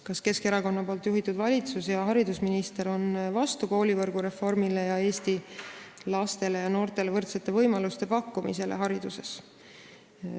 Kas Keskerakonna juhitud valitsus ja haridusminister on vastu koolivõrgu reformile ning Eesti lastele ja noortele võrdsete võimaluste pakkumisele hariduses?